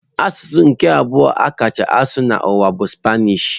Asụsụ nke abụọ a kacha asụ n'ụwa bụ Spanish.